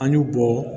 An y'u bɔ